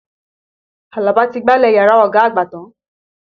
Àlàbà ti gbálẹ̀ yàrá ọ̀gá àgbà tán.